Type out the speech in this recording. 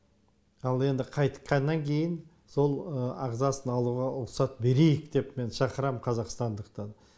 ал енді қайтқаннан кейін сол ағзасын алуға рұқсат берейік деп мен шақырам қазақстандықтарды